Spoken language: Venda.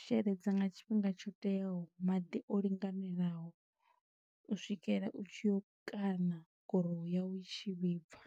sheledza nga tshifhinga tsho teaho, maḓi o linganelaho. U swikela u tshi yo kana gurowu yau i tshi vhibva.